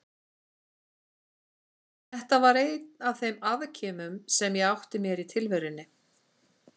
Þetta var einn af þeim afkimum sem ég átti mér í tilverunni.